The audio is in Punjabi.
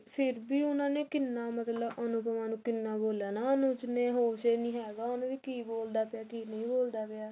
ਫ਼ੇਰ ਵੀ ਉਹਨਾ ਨੇ ਕਿੰਨਾ ਬੋਲਿਆ ਨਾ ਅਨੁਜ ਨੇ ਹੋਸ਼ ਹੈ ਨੀ ਹੈਗਾ ਉਹਨੂੰ ਵੀ ਕੀ ਬੋਲਦਾ ਪਿਆ ਕੀ ਨਹੀ ਬੋਲਦਾ ਪਿਆ